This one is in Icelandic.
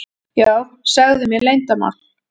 Já, segðu mér leyndarmál.